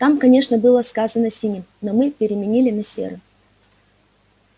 там конечно было сказано синим но мы переменили на серым